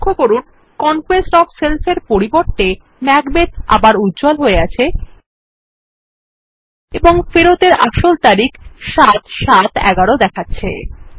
লক্ষ্য করুন conquest of self এর পরিবর্তে ম্যাকবেথ উজ্জ্বল হয়ে আছে এবং ফেরতের আসল তারিখ ৭৭১১ দেখাচ্ছে